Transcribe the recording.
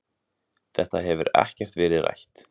Þetta hefur ekkert verið rætt.